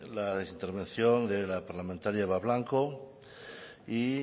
la intervención de la parlamentaria eva blanco y